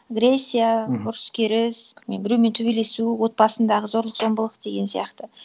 агрессия мхм ұрыс керіс білмеймін біреумен төбелесу отбасындағы зорлық зомбылық деген сияқты